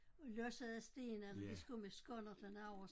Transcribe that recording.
Og læssede sten eller de skulle med skonnerten over